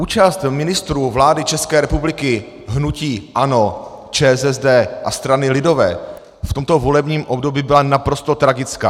Účast ministrů vlády České republiky hnutí ANO, ČSSD a strany lidové v tomto volebním období byla naprosto tragická.